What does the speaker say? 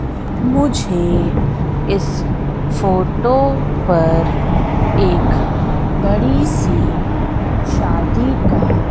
मुझे इस फोटो पर एक बड़ी सी शादी का--